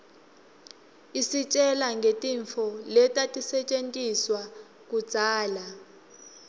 isitjela ngetintfu letatisetjentiswaluudzala